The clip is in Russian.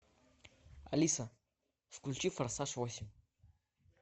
алиса включи форсаж восемь